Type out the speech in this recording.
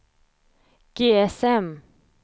GSM